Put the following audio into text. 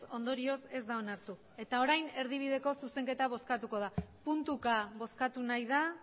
ondorioz ez da onartu eta orain erdibideko zuzenketa bozkatuko da puntuka bozkatu nahi da